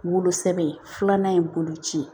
Wolosɛbɛn filanan ye bolo ci ye